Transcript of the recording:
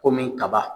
Komi kaba